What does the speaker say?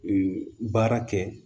baara kɛ